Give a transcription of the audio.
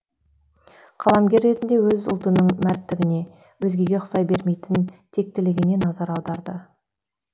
қаламгер ретінде өз ұлтының мәрттігіне өзгеге ұқсай бермейтін тектілігіне назар аударды